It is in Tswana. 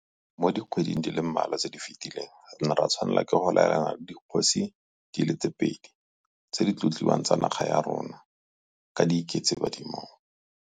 Mo dikgweding di le mmalwa tse di fetileng re ne ra tshwanela ke go laelana le dikgosi di le pedi tse di tlotliwang tsa naga ya rona ka di iketse badimong.